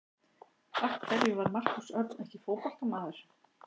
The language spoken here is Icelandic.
Af hverju var Markús Örn ekki fótboltamaður?